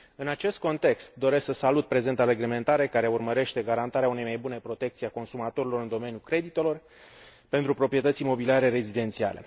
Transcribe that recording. În acest context, doresc să salut prezenta reglementare care urmărește garantarea unei mai bune protecții a consumatorilor în domeniul creditelor pentru proprietăți imobiliare rezidențiale.